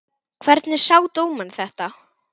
Hvernig sá dómarinn þetta?